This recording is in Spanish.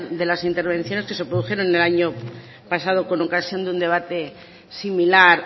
de las intervenciones que se produjeron en el año pasado con ocasión de un debate similar